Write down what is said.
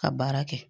Ka baara kɛ